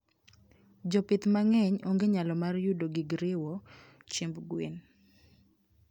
Jopith mangeny ongenyalo mar yudo gigriwo chiemb gwen